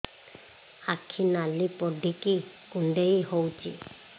ଆଖି ନାଲି ପଡିକି କୁଣ୍ଡେଇ ହଉଛି